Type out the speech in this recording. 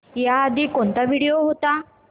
याआधी कोणता व्हिडिओ होता